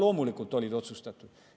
No loomulikult olid otsustatud.